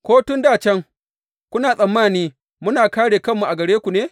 Ko tun dā can, kuna tsammani muna kāre kanmu a gare ku ne?